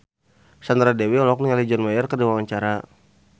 Sandra Dewi olohok ningali John Mayer keur diwawancara